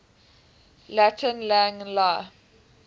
latin lang la